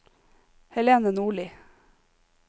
Helene Nordli